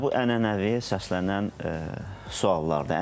Yəni bu ənənəvi səslənən suallardır.